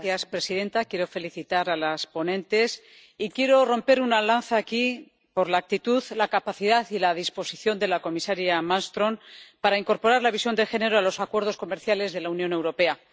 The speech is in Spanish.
Señora presidenta, quiero felicitar a las ponentes y quiero romper una lanza aquí por la actitud, la capacidad y la disposición de la comisaria Malmström para incorporar la visión de género a los acuerdos comerciales de la Unión Europea.